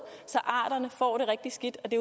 så arterne får det rigtig skidt og det